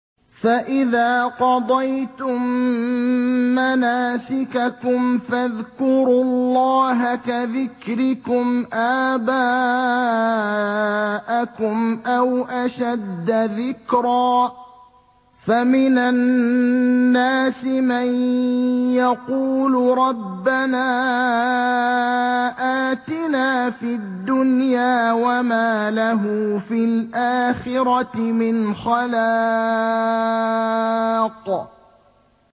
فَإِذَا قَضَيْتُم مَّنَاسِكَكُمْ فَاذْكُرُوا اللَّهَ كَذِكْرِكُمْ آبَاءَكُمْ أَوْ أَشَدَّ ذِكْرًا ۗ فَمِنَ النَّاسِ مَن يَقُولُ رَبَّنَا آتِنَا فِي الدُّنْيَا وَمَا لَهُ فِي الْآخِرَةِ مِنْ خَلَاقٍ